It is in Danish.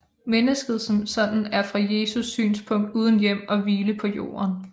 Mennesket som sådan er fra Jesu synspunkt uden hjem og hvile på jorden